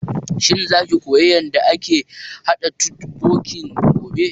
Shin za ki koya yanda ake haɗa totbokki gobe?